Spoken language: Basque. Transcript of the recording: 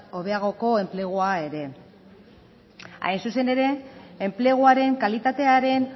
hobeagoko enplegua ere hain zuzen ere enpleguaren kalitatearen